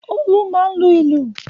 Olú máa ń lu ìlù.